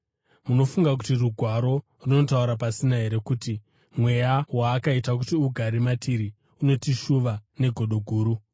Munofunga kuti Rugwaro runotaura pasina here kuti mweya waakaita kuti ugare matiri unotishuva negodo guru?